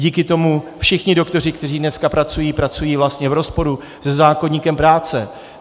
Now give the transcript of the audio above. Díky tomu všichni doktoři, kteří dneska pracují, pracují vlastně v rozporu se zákoníkem práce.